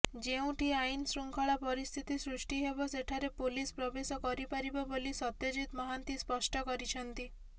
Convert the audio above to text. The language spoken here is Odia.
ଯେଉଁଠି ଆଇନଶୃଙ୍ଖଳା ପରିସ୍ଥିତି ସୃଷ୍ଟି ହେବ ସେଠାରେ ପୋଲିସ ପ୍ରବେଶ କରିପାରିବ ବୋଲି ସତ୍ୟଜିତ ମହାନ୍ତି ସ୍ପଷ୍ଟ କରିଛନ୍ତି